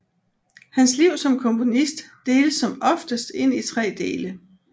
Hans liv som komponist deles som oftest ind i tre dele